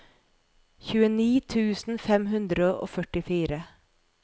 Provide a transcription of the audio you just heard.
tjueni tusen fem hundre og førtifire